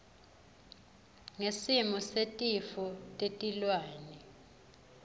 ngesimo setifo tetilwane